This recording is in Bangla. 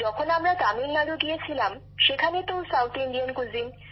যখন আমরা তামিলনাড়ু গিয়েছিলাম সেখানে তো দক্ষিণ ভারতীয় খাবার